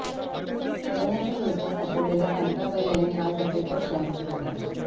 करोनाच्या विळख्यात सापडलेल्या कांताबाई यांनी आज अखेरचा श्वास घेतला